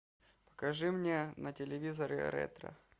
покажи мне на телевизоре ретро